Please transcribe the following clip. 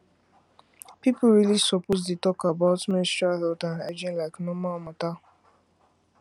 people really suppose dey talk about menstrual health and hygiene like normal matter